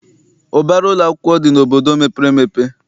Ụbara ụlọakwụkwọ dị n'obodo mepere emepe.